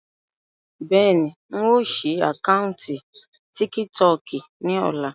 Bẹ́ẹ̀ni, ń ó sì àkántì "tíkítọọ́kì" ni ọ̀la.